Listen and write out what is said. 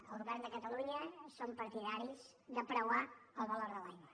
el govern de catalunya som partidaris de preuar el valor de l’aigua